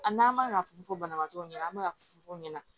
A n'an ma fu fɔ banabagatɔw ɲɛna an be ka fufu u ɲɛna